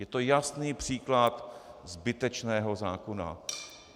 Je to jasný příklad zbytečného zákona.